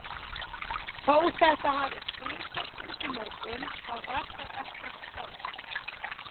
Þó þetta hafi kvisast út í morgun þá var það ekkert staðfest.